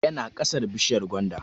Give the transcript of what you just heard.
Yana ƙasar bishiyar gwanda